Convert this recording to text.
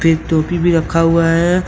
एक टोपी भी रखा हुआ है।